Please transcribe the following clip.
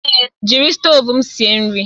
Èé, jiri stovu m sie nri